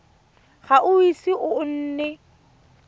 ga o ise o nne